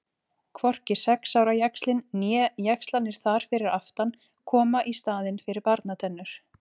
Hvorki sex ára jaxlinn né jaxlarnir þar fyrir aftan koma í staðinn fyrir barnatennur.